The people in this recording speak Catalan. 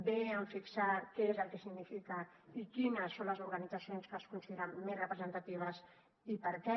bé amb fixar què és el que significa i quines són les organitzacions que es consideren més representatives i per què